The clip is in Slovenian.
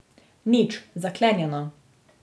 Nič, zaklenjeno.